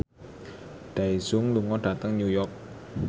Daesung lunga dhateng New York